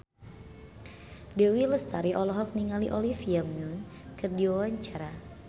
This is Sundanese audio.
Dewi Lestari olohok ningali Olivia Munn keur diwawancara